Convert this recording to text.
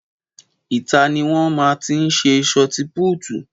Ìta ni wọn máa tí ń sé sọti púútu